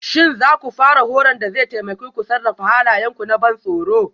Shin za ku fara horon da zai taimake ku sarrafa halayenku na ban tsoro?